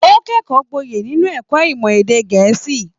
O kẹkọọ gboye nínú ẹ̀kọ́ ìmọ̀ èdè gẹ̀ẹ́sì.